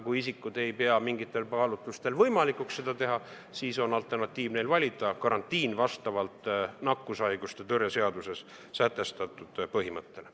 Kui isikud ei pea mingitel kaalutlustel võimalikuks seda teha, siis on neil alternatiivina valida karantiin vastavalt nakkushaiguste ennetamise ja tõrje seaduses sätestatud põhimõttele.